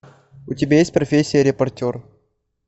у тебя есть профессия репортер